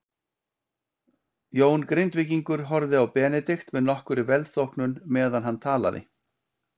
Jón Grindvíkingur horfði á Benedikt með nokkurri velþóknun meðan hann talaði.